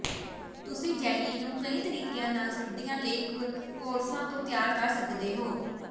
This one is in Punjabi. ਤੁਸੀਂ ਜੈਲੀ ਨੂੰ ਕਈ ਤਰੀਕਿਆਂ ਨਾਲ ਸਰਦੀਆਂ ਲਈ ਕਰੌਸਾਂ ਤੋਂ ਤਿਆਰ ਕਰ ਸਕਦੇ ਹੋ